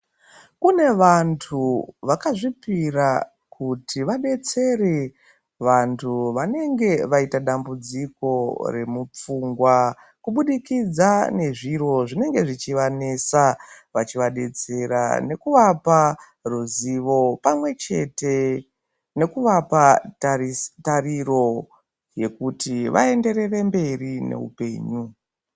Kune vantu vakazvipira kuti vadetsere vantu vanenge vaita dambudziko remupfungwa kubudikidza ngezviro zvinenge zvechivanesa vachivabetsera ngekuvapa ruzivo pamwechete nekuvapa tariro yekuti vaenderere mberi neupenyu.